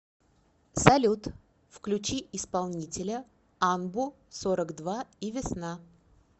салют включи исполнителя анбу сорок два и весна